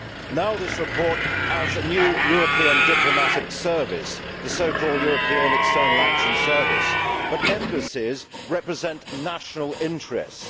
Now this report adds a new European diplomatic service, the so called European External Action Service, but embassies represent national interests.